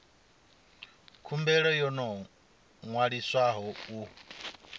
khumbelo yo no ṅwaliswaho u